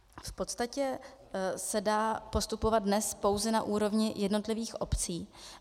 V podstatě se dá postupovat dnes pouze na úrovni jednotlivých obcí.